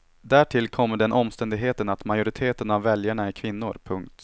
Därtill kommer den omständigheten att majoriteten av väljarna är kvinnor. punkt